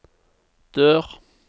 dør